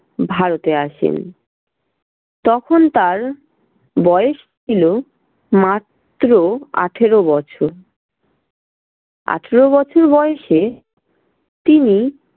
ভারতে আসেন। তখন তার বয়স ছিল মাত্র আঠেরো বছর। আঠেরো বছর বয়েসে তিনি